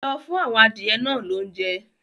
Lọ fún àwọn adìyẹ náà lóúnjẹ!